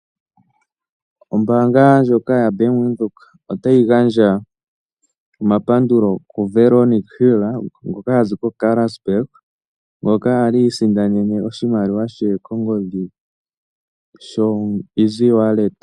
Ombaanga ndjoka ya Bank Widhoek otayi gandja omapandulo ku Veronica Hill ngoka hazi ko Karasburg, ngoka ali a isindanene oshimaliwa she kongodhi sho easy wallet.